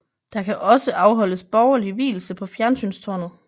Der kan også afholdes borgerlig vielse på fjernsynstårnet